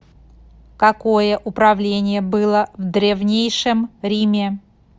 какое управление было в древнейшем риме